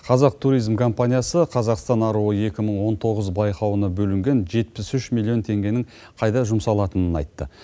қазақ туризм компаниясы қазақстан аруы екі мың он тоғыз байқауына бөлінген жетпіс үш миллион теңгенің қайда жұмсалатынын айтты